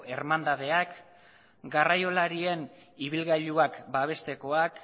ermandadeak garraiolarien ibilgailuak babestekoak